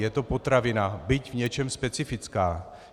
Je to potravina, byť v něčem specifická.